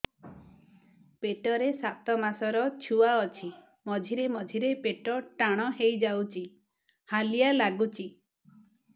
ପେଟ ରେ ସାତମାସର ଛୁଆ ଅଛି ମଝିରେ ମଝିରେ ପେଟ ଟାଣ ହେଇଯାଉଚି ହାଲିଆ ଲାଗୁଚି